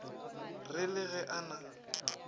re le ge a na